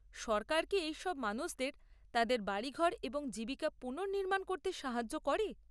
সরকার কি এই সব মানুষদের তাঁদের বাড়িঘর এবং জীবিকা পুনর্নির্মাণ করতে সাহায্য করে?